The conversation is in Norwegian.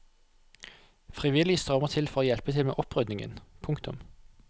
Frivillige strømmer til for å hjelpe til med opprydningen. punktum